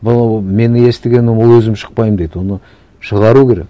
но ол мен естігенім ол өзім шықпаймын дейді оны шығару керек